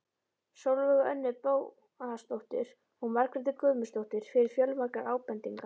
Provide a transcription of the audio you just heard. Sólveigu Önnu Bóasdóttur og Margréti Guðmundsdóttur fyrir fjölmargar ábendingar.